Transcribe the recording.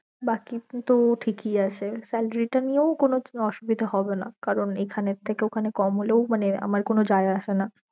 বাকি তো ঠিক ই আছে salary টা নিয়েও কোনো অসুবিধা হবে না কারণ এইখানের থেকে ঐখানে কম হলেও আমার কোনো যায়ে আসে না